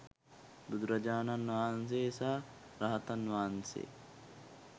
බුදුරජාණන් වහන්සේ සහ රහතන් වහන්සේ